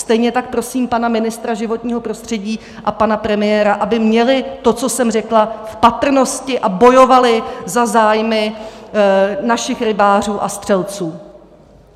Stejně tak prosím pana ministra životního prostředí a pana premiéra, aby měli to, co jsem řekla, v patrnosti a bojovali za zájmy našich rybářů a střelců.